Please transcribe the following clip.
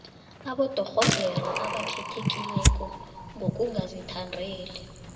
abodorhodere abakhethekileko ngokungazithandeli